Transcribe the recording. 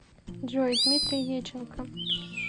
джой дмитрий еченко